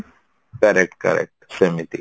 correct correct ସେମିତି